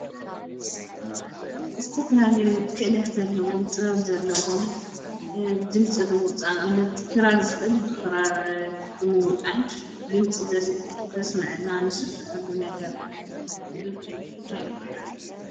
ዝተፈላለዩ ክእለት ዘለዎም ጥበብ ዘለዎም ድምፂ ብምውፃእ ንኣብነት ክራር ዝክእል ብክራር ምውጣይ ድምፂ ዘስመዐሉ ነገር እቲ ድምፂ ንሱ እንታይ ይባሃል?